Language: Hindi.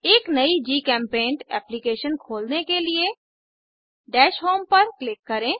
एक नयी जीचेम्पेंट एप्लीकेशन खोलने के लिए दश होम पर क्लिक करें